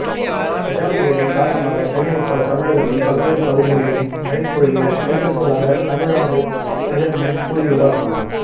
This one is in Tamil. கஜா புயலின் காரணமாக சென்னை உட்பட தமிழகத்தின் பல்வேறு பகுதிகளிலும் மழை பொழிய வாய்ப்பிருப்பதாக தமிழ்நாடு வெதர்மேன் கூறியுள்ளார்